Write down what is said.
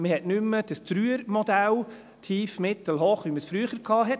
Man hat nicht mehr das 3er-Modell – tief, mittel, hoch –, wie man es früher hatte.